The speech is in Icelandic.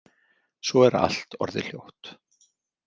Svo er allt orðið hljótt.